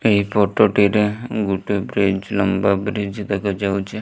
ଏହି ଫଟୋ ଟିରେ ଗୋଟେ ବ୍ରିଜ ଲମ୍ବା ବ୍ରିଜ ଦେଖାଯାଉଚି।